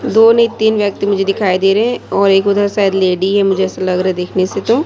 दो नहीं तीन व्यक्ति मुझे दिखाई दे रहे और एक उधर शायद लेडी है मुझे ऐसा लग रहा देखने से तो--